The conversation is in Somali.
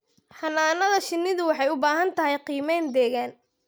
Xannaanada shinnidu waxay u baahan tahay qiimayn deegaan.